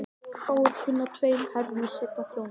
Fáir kunna tveim herrum í senn að þjóna.